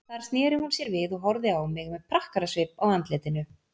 Þar sneri hún sér við og horfði á mig með prakkarasvip á andlitinu.